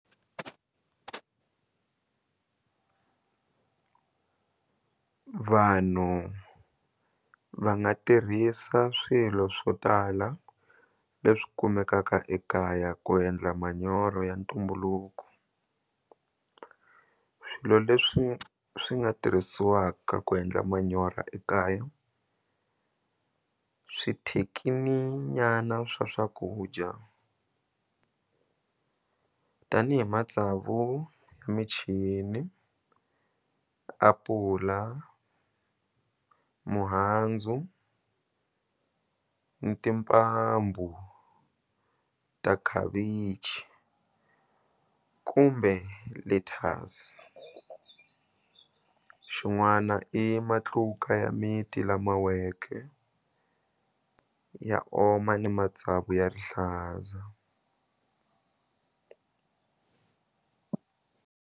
Vanhu va nga tirhisa swilo swo tala leswi kumekaka ekaya ku endla manyoro ya ntumbuluko swilo leswi swi nga tirhisiwaka ku endla manyoro ekaya nyana swa swakudya tanihi matsavu ya michini apula mihandzu ni timbambu ta khavichi kumbe lettuce xin'wana i matluka ya miti lama weke ya oma ni matsavu ya rihlaza.